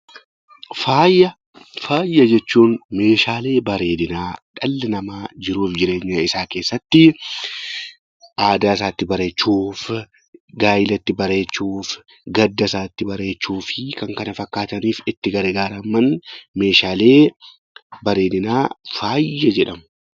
Faaya jechuun Meeshaalee bareedinaa dhalli namaa jiruu fi jireenya isaa keessatti aadaa isaa itti bareechuuf, gaa'ela itti bareechuuf, gadda isaa itti bareechuu fi kan kana fakkaataniif itti gargaaraman, Meeshaalee bareedinaa faaya jedhama.